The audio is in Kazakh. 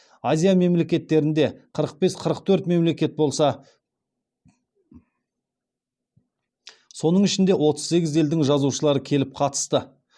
азия мемлекеттерінде қырық бес қырық төрт мемлекет болса соның ішінде отыз сегіз елдің жазушылары келіп қатысты